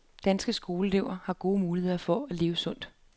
De danske skoleelever har gode muligheder for at leve sundt.